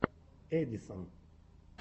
эдисон